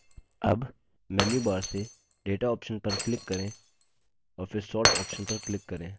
अब हम मेन्यूबार से data option पर click करें और फिर sort option पर click करें